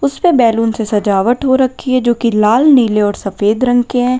इसपे बैलून से सजावट हो रखी है जो की लाल नीले और सफेद रंग के हैं।